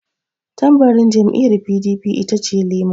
Tambarin jam'iyar PDP itace lema.